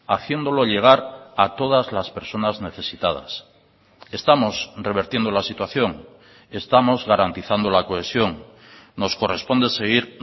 haciéndolo llegar a todas las personas necesitadas estamos revertiendo la situación estamos garantizando la cohesión nos corresponde seguir